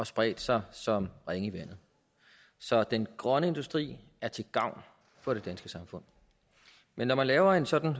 spredt sig som ringe i vandet så den grønne industri er til gavn for det danske samfund men når man laver en sådan